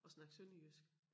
Og snakke sønderjysk